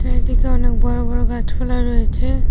চারিদিকে অনেক বড় বড় গাছপালা রয়েছে।